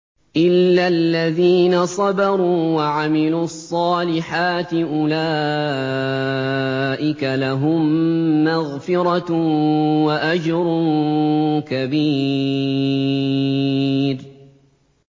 إِلَّا الَّذِينَ صَبَرُوا وَعَمِلُوا الصَّالِحَاتِ أُولَٰئِكَ لَهُم مَّغْفِرَةٌ وَأَجْرٌ كَبِيرٌ